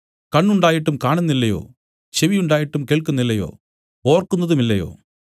കണ്ണ് ഉണ്ടായിട്ടും കാണുന്നില്ലയോ ചെവി ഉണ്ടായിട്ടും കേൾക്കുന്നില്ലയോ ഓർക്കുന്നതുമില്ലയോ